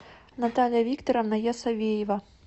наталья викторовна ясовеева